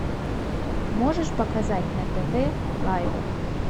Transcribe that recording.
можешь показать на тв лайф